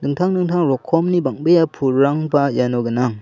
dingtang dingtang rokomni bang·bea pulrangba iano gnang.